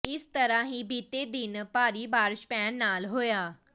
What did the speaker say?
ਇਸ ਤਰਾਂ ਹੀ ਬੀਤੇ ਦਿਨ ਭਾਰੀ ਬਾਰਸ਼ ਪੈਣ ਨਾਲ ਹੋਇਆ